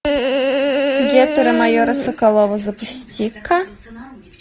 гетеры майора соколова запусти ка